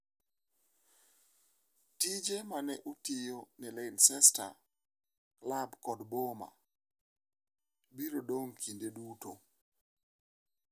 """Tije mane otiyo ne Leicester - klab kod boma - biro idong'i kinde duto."""